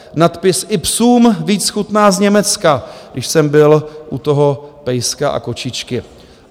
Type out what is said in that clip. Nadpis "i psům víc chutná z Německa", když jsem byl u toho pejska a kočičky.